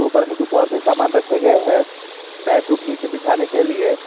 ऊपर में कुछ और भी सामान रखे गए हैं मैट वो नीचे बिछाने के लिए।